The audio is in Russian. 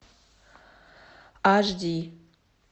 аш ди